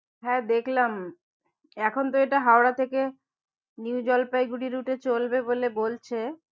হ্যাঁ দেখলাম এখন তো এটা হওয়া থেকে নিউ জলপাইগুঁড়ি route এ চলবে বলে বলছে।